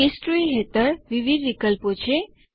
history હેઠળ વિવિધ વિકલ્પો છે